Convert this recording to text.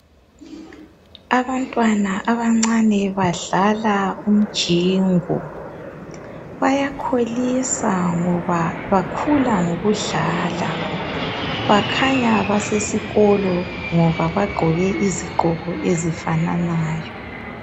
Abantwana abancane badlala umjingo bayakholisa ngoba bakhula ngokudlala bakhanya basesikolo ngoba bagqoke izigqoko ezifananayo